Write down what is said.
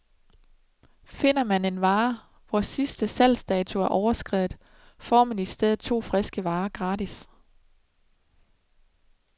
Finder man en vare, hvor sidste salgsdato er overskredet, får man i stedet to friske varer gratis.